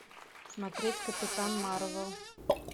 смотреть капитан марвел